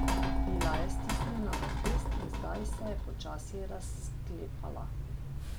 Bila je stisnjena v pest in zdaj se je počasi razklepala.